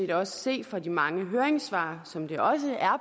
vi også se på de mange høringssvar og som det også er